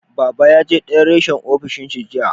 Baba ya je dayan reshen ofis dinshi jiya